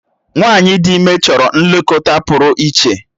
Nwanyi ịdị ime chọrọ nlekọta pụrụ iche.